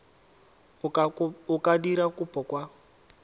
o ka dira kopo kwa